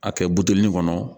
A kɛ buteli in kɔnɔ